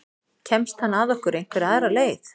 Kemst hann að okkur einhverja aðra leið?